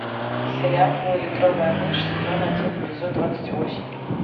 сериал поллитровая мышь сезон один эпизод двадцать восемь